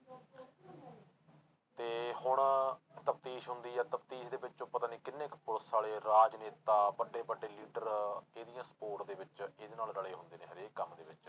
ਤੇ ਹੁਣ ਤਫ਼ਦੀਸ ਹੁੰਦੀ ਆ ਤਫ਼ਦੀਸ ਦੇ ਵਿੱਚੋਂ ਪਤਾ ਨੀ ਕਿੰਨੇ ਕੁ ਪੁਲਿਸ ਵਾਲੇ, ਰਾਜਨੇਤਾ, ਵੱਡੇ ਵੱਡੇ leader ਇਹਦੀਆਂ support ਦੇ ਵਿੱਚ ਇਹਦੇ ਨਾਲ ਰਲੇ ਹੁੰਦੇ ਨੇ ਹਰੇਕ ਕੰਮ ਦੇ ਵਿੱਚ।